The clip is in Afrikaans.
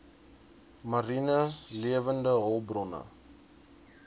mariene lewende hulpbronne